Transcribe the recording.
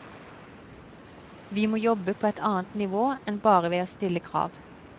Vi må jobbe på et annet nivå enn bare ved å stille krav.